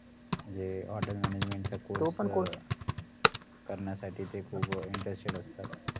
म्हणजे hotel management चा course करण्यासाठीते खूप interested असतात